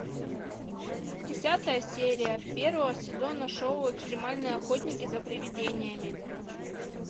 десятая серия первого сезона шоу экстремальные охотники за привидениями